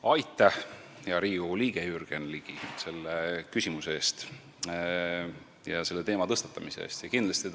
Aitäh, hea Riigikogu liige Jürgen Ligi, selle küsimuse eest ja selle teema tõstatamise eest!